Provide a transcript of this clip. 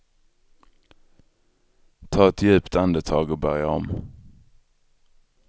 Ta ett djupt andetag och börja om.